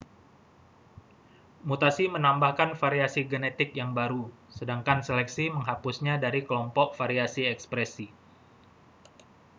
mutasi menambahkan variasi genetik yang baru sedangkan seleksi menghapusnya dari kelompok variasi ekspresi